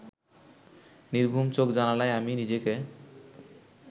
নির্ঘুম চোখ জানালায় আমি নিজেকে